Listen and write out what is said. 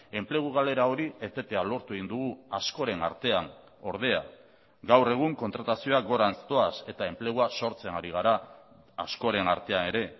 enplegu galera hori etetea lortu egin dugu askoren artean ordea gaur egun kontratazioak gorantz doaz eta enplegua sortzen ari gara askoren artean ere